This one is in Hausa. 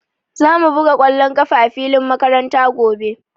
Za mu buga ƙwallon ƙafa a filin makaranta gobe.